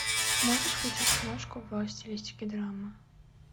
можешь включить киношку в стилистике драма